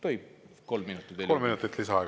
Tohib kolm minutit veel?